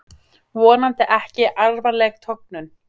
Vonandi ekki alvarleg tognun